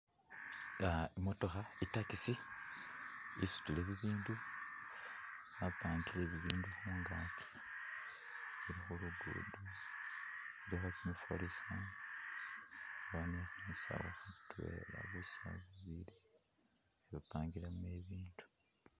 Imotokha i’taxi isutile bibindu bapangile bibindu kuungakyi , ili khulugudo ilikho kyimifwalisa ni busawu bubili bapangilemo ibindu.